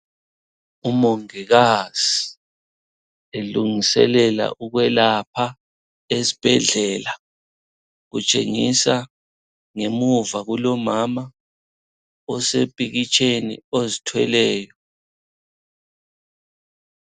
Umongikazi elungiselela ukwelapha esibhedlela kutshengisa ngemuva kulomama osepikitsheni ozithweleyo.